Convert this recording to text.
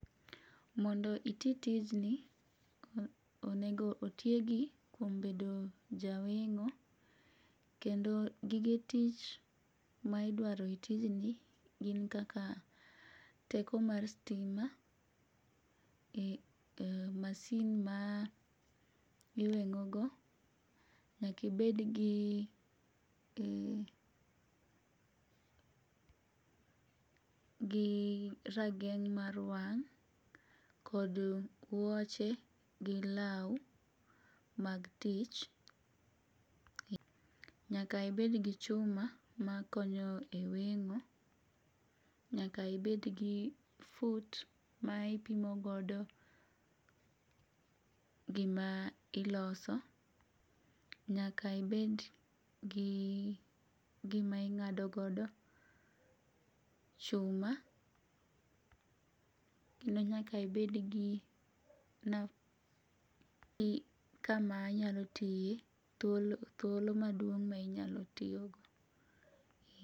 Mondo iti tijni, onego otiegi kuom bedo jaweng'o, kendo gige tich ma idwaro e tijni gin kaka teko mar stima, masin ma iweng'ogo, nyaka ibedgi rageng' mar wang' kod wuoche gi law mag tich, nyaka ibed gi chuma makonyo e weng'o, nyaka ibed gi fut ma ipimo godo ,gima iloso ,nyaka ibedgi gima ing'ado godo chuma ,kendo nyaka ibedgi kama inyal tiye, thuolo maduong' ma inyalo tiyogo.